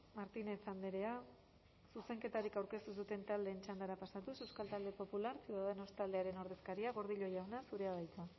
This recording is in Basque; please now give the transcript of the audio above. martínez andrea zuzenketarik aurkeztu ez duten taldeen txandara pasatuz euskal talde popularra ciudadanos taldearen ordezkaria gordillo jauna zurea da hitza